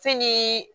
Fɛn ni